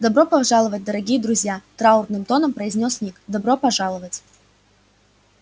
добро пожаловать дорогие друзья траурным тоном произнёс ник добро пожаловать